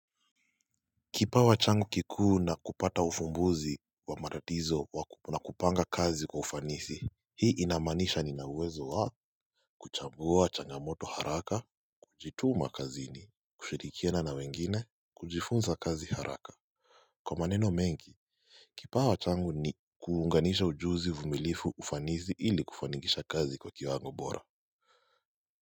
Kipawa changu kikuu na kupata ufumbuzi wa matatizo na kupanga kazi kwa ufanisi Hii inamaanisha nina uwezo wa kuchambua changamoto haraka, kujituma kazini, kushirikiana na wengine, kujifunza kazi haraka. Kwa maneno mengi, kipawa changu ni kuunganisha ujuzi vumilifu ufanisi ili kufanikisha kazi kwa kiwango bora.